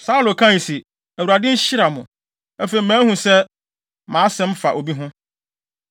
Saulo kae se, “ Awurade nhyira mo! Afei, mahu sɛ mʼasɛm fa obi ho.